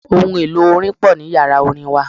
Ohun-èlò orin pò ní Ìyàrá orin wa.